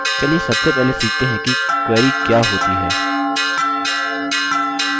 चलिए सबसे पहले सीखते हैं की query क्या होती है